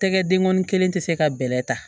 Tɛgɛ denkɔnin kelen tɛ se ka bɛlɛ ta